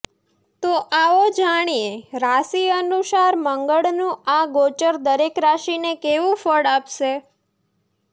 તો આવો જાણીએ રાશિ અનુસાર મંગળનું આ ગોચર દરેક રાશિને કેવું ફળ આપશે